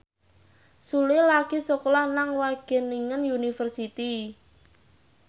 Sule lagi sekolah nang Wageningen University